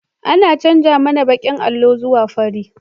An canja mana bakin allo zuwa fari